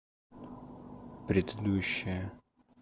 предыдущая